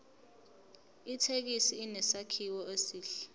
ithekisi inesakhiwo esihle